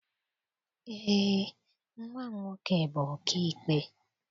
Eé, nnwa m nwoke bụ ọkaikpe.